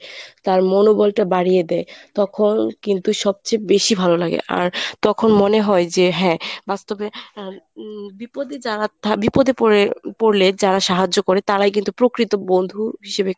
তার মনোবলটা বাড়িয়ে দেয়। তখন কিন্তু সবচেয়ে বেশি ভালো লাগে আর তখন মনে হয় যে হ্যাঁ বাস্তবে আহ উম বিপদে যারা থা বিপদে পরে~ পরলে যারা সাহায্য করে তারাই কিন্তু প্রকৃত বন্ধু হিসেবে